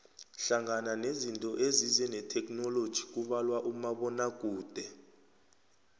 hlangana nezinto ezize netheknoloji kubalwa umabonakude